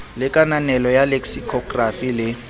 le kananelo ya leksikhokrafi le